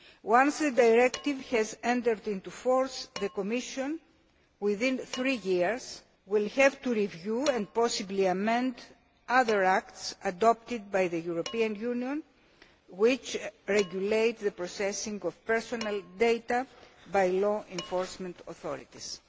Once a directive has entered into force the Commission, within three years, will have to review and possibly amend other acts adopted by the European Union which regulate the processing of personal data by law enforcement authorities.